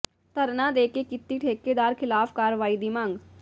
ਧਰਨਾ ਦੇ ਕੇ ਕੀਤੀ ਠੇਕੇਦਾਰ ਖ਼ਿਲਾਫ਼ ਕਾਰਵਾਈ ਦੀ ਮੰਗ